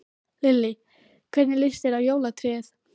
Lillý: Hvernig lýst þér á jólatréð?